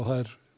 það